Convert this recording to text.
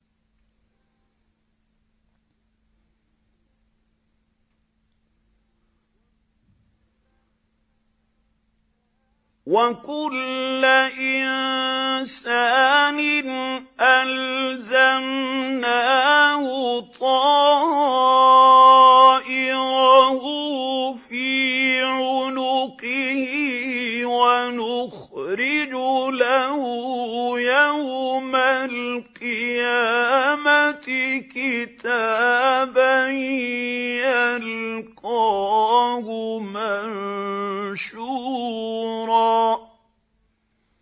وَكُلَّ إِنسَانٍ أَلْزَمْنَاهُ طَائِرَهُ فِي عُنُقِهِ ۖ وَنُخْرِجُ لَهُ يَوْمَ الْقِيَامَةِ كِتَابًا يَلْقَاهُ مَنشُورًا